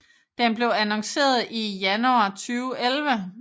Den blev annonceret i januar 2011